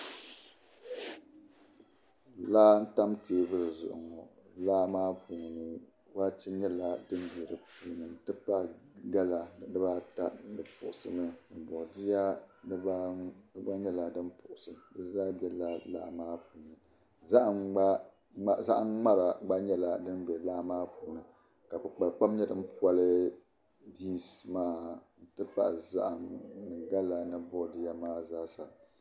laa n tam teebuli zuɣu ŋɔ laa maa puuni waache nyɛla din be dipuuni n tipahi gala dibaata di puɣisimi boodiya dibaanu di gba nyela din puɣusi dizaa bela laa maa puuni zahim ŋmara gba nyɛla din be laa maa puuni ka kpikpalikpam nye din poli binsi maa ntipahi zahim ni gala ni bodiya maa zaa sa